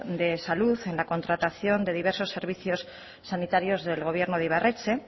de salud en la contratación de diversos servicios sanitarios del gobierno de ibarretxe